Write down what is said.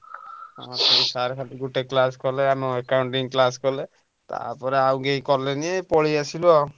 ସେଇ sir ଖାଲି ଗୋଟେ class କଲେ ଆମ Accounting class କଲେ। ତାପରେ ଆଉ କେହି କଲେନି ପଳେଇଆସିଲୁ ଆଉ।